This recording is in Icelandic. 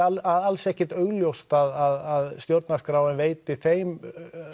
alls ekkert augljóst að stjórnarskráin veiti þeim